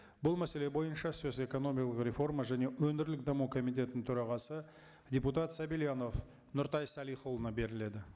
бұл мәселе бойынша сөз экономикалық реформа және өңірлік даму комитетінің төрағасы депутат сабильянов нұртай салихұлына беріледі